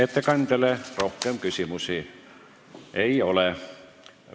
Ettekandjale rohkem küsimusi ei ole.